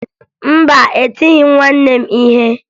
Mba, etighi m nwanne m ihe